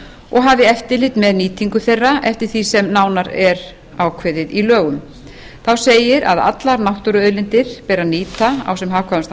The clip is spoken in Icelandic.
og hafi eftirlit með nýtingu þeirra eftir því sem nánar er ákveðið í lögum þá segir að allar náttúruauðlindir beri að nýta á sem hagkvæmastan